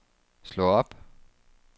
slå op